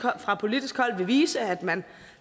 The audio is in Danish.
fra politisk hold vil vise at man